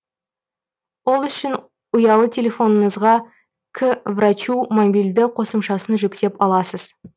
ол үшін ұялы телефоныңызға к врачу мобильді қосымшасын жүктеп аласыз